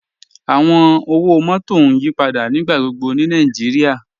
Awọn ọwọ-mọtọ n yípadà nígbàgbọ̀gbọ̀ ni Nàìjíríà.